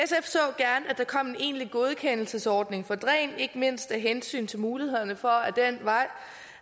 der kom en egentlig godkendelsesordning for dræn ikke mindst af hensyn til mulighederne for den vej